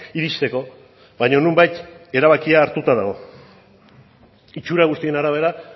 iristeko baina nonbait erabakia hartuta dago itsura guztien arabera